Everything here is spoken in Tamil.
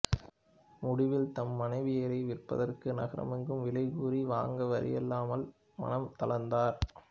முடிவில் தம் மனைவியாரை விற்பதற்கு நகரெங்கும் விலைகூறி வாங்குவாரில்லாமையால் மனம் தளர்ந்தார்